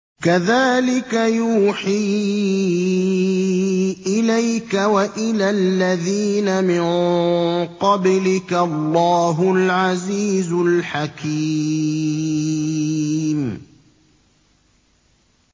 كَذَٰلِكَ يُوحِي إِلَيْكَ وَإِلَى الَّذِينَ مِن قَبْلِكَ اللَّهُ الْعَزِيزُ الْحَكِيمُ